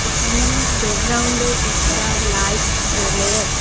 এখানেও ব্যাকগ্রাউন্ডে একটা লাইট জ্বলে।